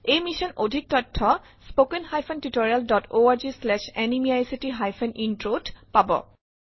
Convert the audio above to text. এই মিছনৰ অধিক তথ্থ spoken hyphen tutorial dot org slash এনএমইআইচিত হাইফেন ইন্ট্ৰ ত পাব